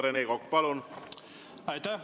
Rene Kokk, palun!